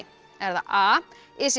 er það a is